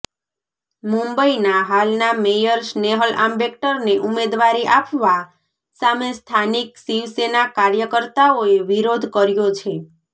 મુંબઇના હાલના મેયર સ્નેહલ આંબેકરને ઉમેદવારી આપવા સામે સ્થાનિક શિવસેના કાર્યકર્તાઓએ વિરોધ કર્યો છે